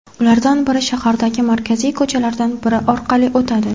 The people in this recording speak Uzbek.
Ulardan biri shahardagi markaziy ko‘chalardan biri orqali o‘tadi.